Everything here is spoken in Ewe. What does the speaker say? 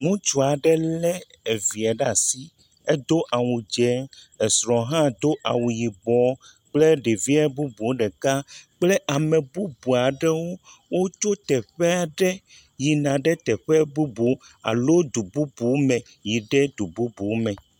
Ŋutsu aɖe le evia ɖe asi. Edo awu dzɛ. Asrɔ̃hã do awu yibɔ kple ɖevia bubuawo ɖeka kple ame bubu aɖewo wotso teƒe aɖe yina ɖe teƒe bubu alo du bubu me yi ɖe du bubu me.